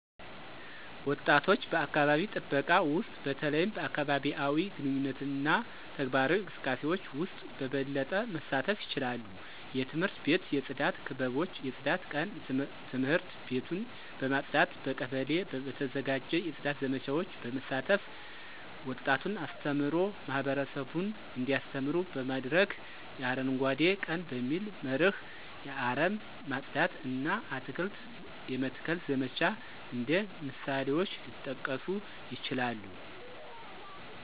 ወጣቶች በአካባቢ ጥበቃ ውስጥ በተለይም በአካባቢአዊ ግንኙነትና ተግባራዊ እንቅስቃሴዎች ውስጥ በበለጠ መሳተፍ ይችላሉ። የትምህርት ቤት የጽዳት ክበቦች የጽዳት ቀን ትምህርት ቤቱን በማጽዳት፣ በቀበሌ በተዘጋጀ የጽዳት ዘመቻዎች በመሳተፍ፣ ወጣቱን አስተምሮ ማህበረሰቡን እንዲያስተምሩ በማድረግ፣ የ አረንጓዴ ቀን በሚል መርህ የአረም ማጽዳት እና አትክልት የመትከል ዘመቻ እንደ ምሳሌዎች ሊጠቀሱ ይችላሉ።